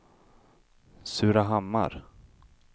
Surahammar